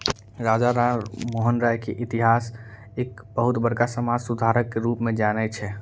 राजा राम मोहन राय के इतिहास एक बहुत बड़का समाज सुधारक क रूप में जाने छे।